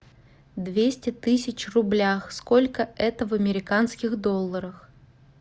двести тысяч в рублях сколько это в американских долларах